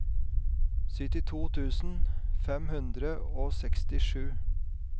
syttito tusen fem hundre og sekstisju